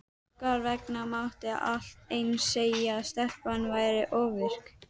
Hún jesúsaði sig í bak og fyrir.